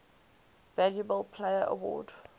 valuable player award